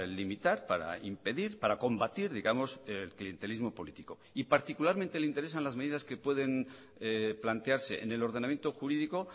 limitar para impedir para combatir digamos el clientelismo político y particularmente le interesan las medidas que pueden plantearse en el ordenamiento jurídico